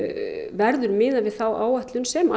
verður miðað við þá áætlun sem